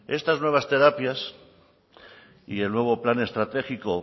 estas nuevas terapias y el nuevo plan estratégico